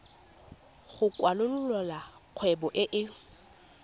go kwalolola kgwebo e e